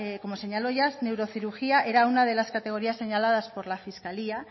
como señaló ya neurocirugía era una de las categorías señaladas por la fiscalía